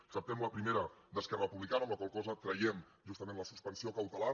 acceptem la primera d’esquerra republicana amb la qual cosa traiem justament la suspensió cautelar